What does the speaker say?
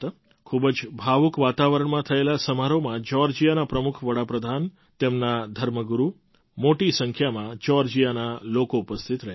ખૂબ જ ભાવુક વાતાવરણમાં થયેલા આ સમારોહમાં જ્યૉર્જિયાના પ્રમુખ વડા પ્રધાન તેમના ધર્મગુરુ અને મોટી સંખ્યામાં જ્યૉર્જિયાના લોકો ઉપસ્થિત હતા